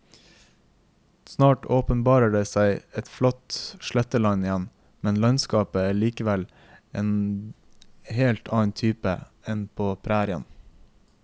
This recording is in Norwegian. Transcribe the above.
Snart åpenbarer det seg et flatt sletteland igjen, men landskapet er likevel av en helt annen type enn på prærien.